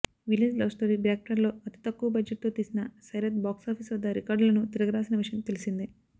village love story బ్యాక్డ్రాప్లో అతి తక్కువ బడ్జెట్తో తీసిన సైరత్ బాక్సాపీస్ వద్ద రికార్డులను తిరగరాసిన విషయం తెలిసిందే